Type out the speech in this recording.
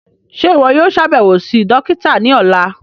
Ṣe iwọ yóò ṣabẹwo si dokita ni ọla?